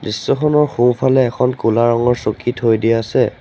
দৃশ্যখনৰ সোঁফালে এখন ক'লা ৰঙৰ চকী থৈ দিয়া আছে।